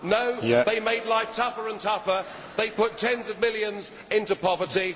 No, they made life tougher and tougher they put tens of millions into poverty